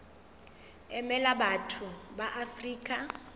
emela batho ba afrika borwa